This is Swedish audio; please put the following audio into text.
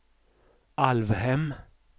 Alvhem